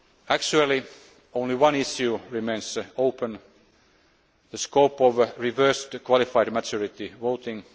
be achieved. Actually only one issue remains open the scope of reverse qualified majority